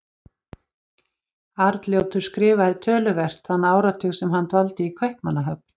Arnljótur skrifaði töluvert þann áratug sem hann dvaldi í Kaupmannahöfn.